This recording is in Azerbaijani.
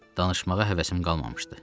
Danışmağa həvəsim qalmamışdı.